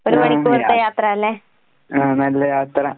ആഹ് നല്ല യാത്ര.